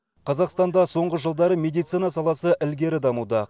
қазақстанда соңғы жылдары медицина саласы ілгері дамуда